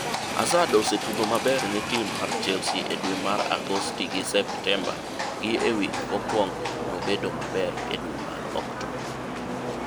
"Hazard osetugo maber ne tim mar Chelsea e dwe mar Agosti gi Septemba gi e wik kokwongo nomedo bedo maber e dwe mar Oktoba